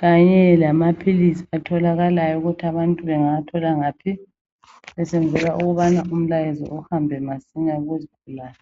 kanye lamaphilizi atholakalayo ukuthi abantu bengawa thola ngaphi besenzela ukuthi umlayezo uhambe masinya kuzigulane.